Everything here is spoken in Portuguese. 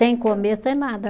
Sem comer, sem nada.